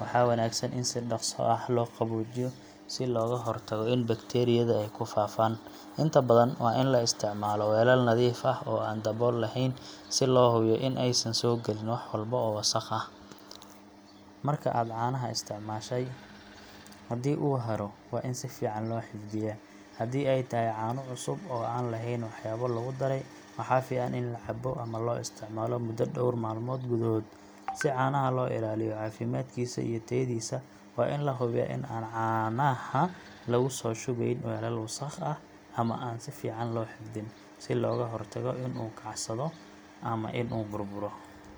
waxaa wanaagsan in si dhaqso ah loo qaboojiyo si looga hortago in bakteeriyada ay ku faafaan. Inta badan, waa in la isticmaalo weelal nadiif ah oo aan dabool lahayn si loo hubiyo in aysan soo galin wax walba oo wasakh ah. Marka aad caano isticmaashay, haddii uu haro, waa in si fiican loo xifdiyaa. Haddii ay tahay caano cusub oo aan lahayn waxyaabo lagu daray, waxaa fiican in la cabbo ama loo isticmaalo muddo dhowr maalmood gudahood. Si caanaha loo ilaaliyo caafimaadkiisa iyo tayadiisa, waa in la hubiyaa in aan caanaha lagu soo shubayn weelal wasakh ah ama aan si fiican loo xafidin, si looga hortago in uu kacsado ama inuu burburo.